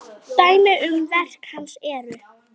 Dæmi um verk hans eru